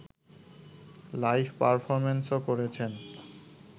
live পারফরমেন্সও করেছেন